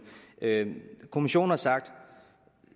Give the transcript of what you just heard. kommissionen har sagt